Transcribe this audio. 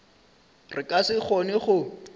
re ka se kgone go